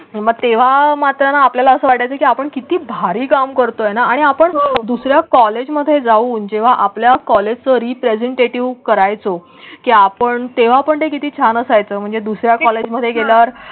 मग तेव्हा मात्र आपल्याला असं वाटतं की आपण किती भारी काम करतोय ना आणि आपण दुसर् या कॉलेजमध्ये जाऊन जेव्हा आपल्या कॉलेज रीप्रेझेंटेटिव्ह करायचं की आपण तेव्हा पण हे किती छान असायचं? म्हणजे दुसर् या कॉलेजमध्ये गेल्यावर.